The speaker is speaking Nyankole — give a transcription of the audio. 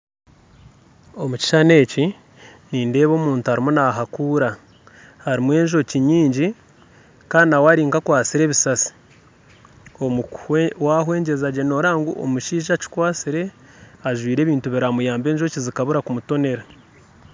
Omukishushani eki nindeeba omuntu arimu nahakuura harimu enjooki nyingi Kandi nawe Ari nkakwasire ebisasi omukuhwe wahwegyezagye noreeba ngu omushaija akikwasire ajwaire ebintu biramuyaabe enjoki zikabura kumutoonera